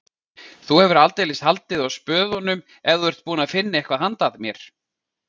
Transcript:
Þú hefur aldeilis haldið á spöðunum ef þú ert búinn að finna eitthvað handa mér